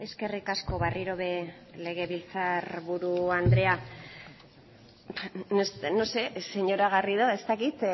eskerrik asko berriro ere legebiltzar buru andrea no sé señora garrido ez dakit